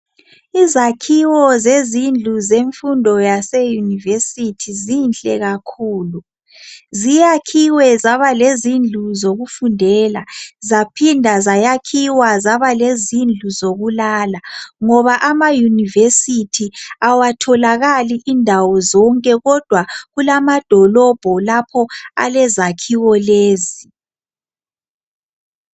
Izakhiwo zemfundo yaseyunivesithi zinhle kakhulu. Ziyakhiwe zaba lezindlu zokufundela zaphinda zayakhiwa zaba lezindlu zokulala ngoba amayunivesithi abatholakali indawo zonke kodwa kulamadolobho lapho alezakhiwo lezi.